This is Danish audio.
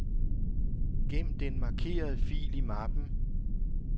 Gem den markerede fil i mappen.